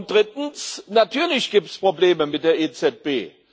Drittens Natürlich gibt es Probleme mit der EZB.